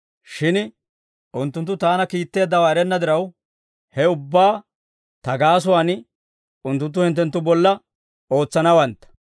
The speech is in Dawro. Shin unttunttu Taana kiitteeddawaa erenna diraw, ha ubbaa Ta gaasuwaan unttunttu hinttenttu bolla ootsanawantta.